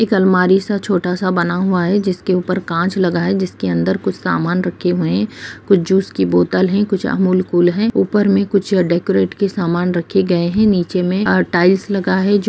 एक अलमारी सा छोटा-सा बना हुआ है जिसके ऊपर कांच लगा है जिसके अंदर कुछ सामान रखे हुए हैं कुछ जूस की बोतल हैं कुछ अमूल कूल हैं ऊपर में कुछ डेकोरेट के सामान रखे गए है नीचे में अ टाइल्स लगा है जो --